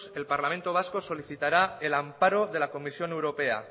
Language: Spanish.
el parlamento vasco solicitará el amparo de la comisión europea